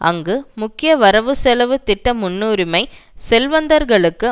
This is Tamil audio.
அங்கு முக்கிய வரவுசெலவு திட்ட முன்னுரிமை செல்வந்தர்களுக்கு